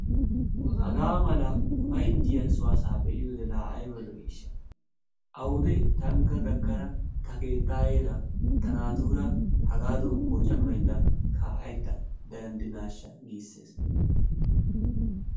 hagaa mala ufayttiyaa soo asaa be'iyoo laa ayba lo"iishsha! awude tankka gakkada ta keettayeera ta naatuura haagadan poocammayida ka'aydda danidiinashsha giissees.